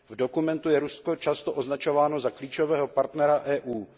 V dokumentu je Rusko často označováno za klíčového partnera EU.